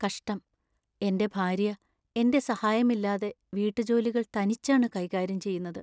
കഷ്ടം, എന്‍റെ ഭാര്യ എന്‍റെ സഹായമില്ലാതെ വീട്ടുജോലികൾ തനിച്ചാണ് കൈകാര്യം ചെയ്യുന്നത്.